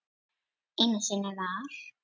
Einu sinni var.